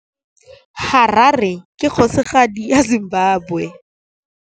Harare ke kgosigadi ya Zimbabwe.